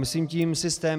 Myslím tím systém.